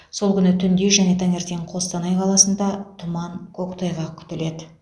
сол күні түнде және таңертең қостанай қаласында тұман көктайғақ күтіледі